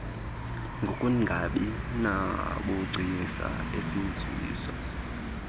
ngokungabi nabugcisa esiziswa